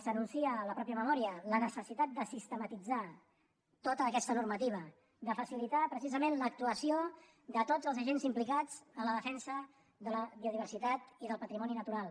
s’anuncia a la mateixa memòria la necessitat de sistematitzar tota aquesta normativa de facilitar precisament l’actuació de tots els agents implicats en la defensa de la biodiversitat i del patrimoni natural